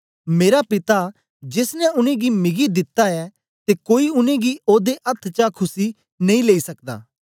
मेरा पिता जेस ने उनेंगी मिगी दिता ऐ ते कोई उनेंगी ओदे दे अथ्थ चा खुस्सी नेई लेई सकदा